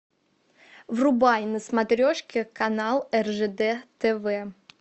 врубай на смотрешке канал ржд тв